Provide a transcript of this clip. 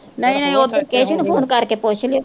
ਨਹੀਂ ਨਹੀਂ ਉੱਧਰ ਕੇਸੂ ਨੂੰ ਫ਼ੋਨ ਕਰਕੇ ਪੁੱਛ ਲਈ।